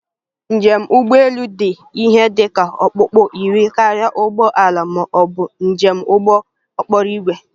Njem ụgbọ elu dị ihe dị ka okpukpu iri karịa ụgbọ ala ma ọ bụ njem ụgbọ okporo ígwè